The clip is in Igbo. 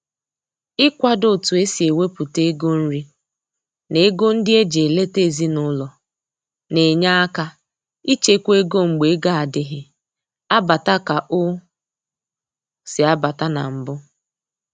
Ị kwado otu e si ewepụta ego nri na ego ndị eji eleta ezinaụlọ na-enye aka ịchekwa ego mgbe ego adịghị abata ka ọ si abata na mbụ